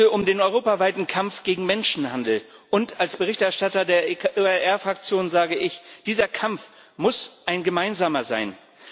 Es geht heute um den europaweiten Kampf gegen Menschenhandel, und als Berichterstatter der ECR Fraktion sage ich Dieser Kampf muss ein gemeinsamer sein.